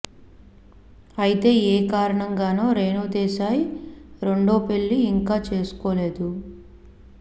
అయితే ఏ కారణంగానో రేణు దేశాయ్ రెండవ పెళ్లి ఇంకా చేసుకోలేదు